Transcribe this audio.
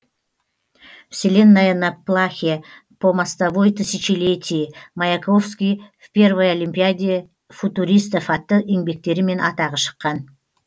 вселенная на плахе по мостовой тысячелетий маяковский в первой олимпиаде футуристов атты еңбектерімен атағы шыққан